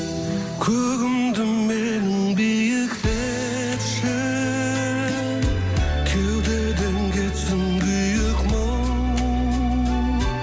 көгімді менің биіктетші кеудеден кетсін күйік мұң